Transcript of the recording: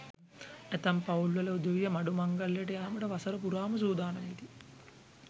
ඇතැම් පවුල් වල උදවිය මඩු මංගල්‍යයට යාමට වසර පුරාම සූදානම් වෙති.